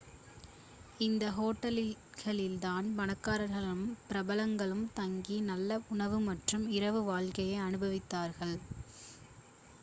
இந்த ஹோட்டல்களில் தான் பணக்காரர்களும் பிரபலங்களும் தங்கி நல்ல உணவு மற்றும் இரவு வாழ்க்கையை அனுபவித்தார்கள்